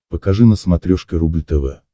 покажи на смотрешке рубль тв